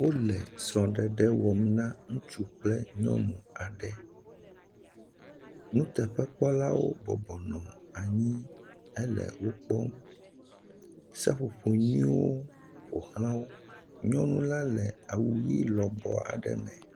Wole srɔ̃ɖeɖ wɔm na ŋutsu kple nyɔnu aɖe. Nuteƒekpɔlawo bɔbɔ nɔ anyi hele wokpɔm. Seƒoƒo nyuiewo ƒo ʋlã wo. Nyɔnula le awu ʋi lɔbɔɔ aɖe me.